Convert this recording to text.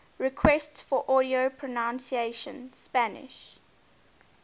requests for audio pronunciation spanish